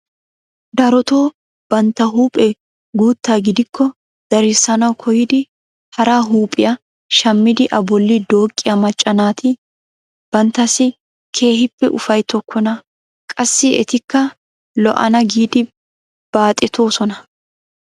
Darotoo bantta huuphphee guutta gidiko darissanawu koyidi hara huuphphiyaa shammidi a bolli dooqqiyaa macca naati banttasi keehippe ufayttokona. qassi etikka lo"ana giidi baaxetoosona.